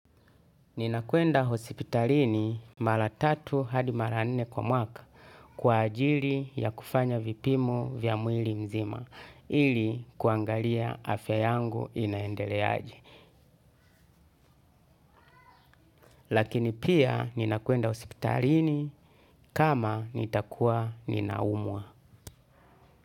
Ninakuenda hosipitalini mara tatu hadi mara nne kwa mwaka kwa ajili ya kufanya vipimo vya mwili mzima ili kuangalia afya yangu inaendeleaje. Lakini pia ninakuenda hosipitalini kama nitakuwa ninaumwa.